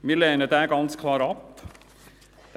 Wir lehnen diesen ganz klar ab.